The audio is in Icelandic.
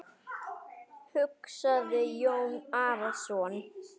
hugsaði Jón Arason.